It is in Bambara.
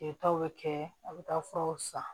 Kɛtaw bɛ kɛ a bɛ taa furaw san